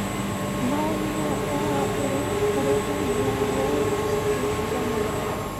no nyonere ũhoro ũrĩa ũrĩ thĩinĩ wa Wall Street Journal.